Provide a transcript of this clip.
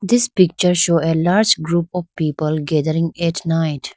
this picture show a large group of people gathering at night.